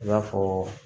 I b'a fɔ